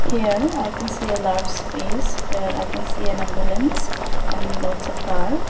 here i can see a large space where i can see an ambulance and lots of car.